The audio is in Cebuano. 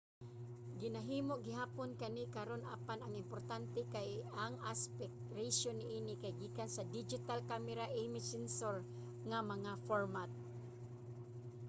ginahimo gihapon kani karun apan ang importante kay ang aspect ratio niini kay gikan sa digital camera image sensor nga mga format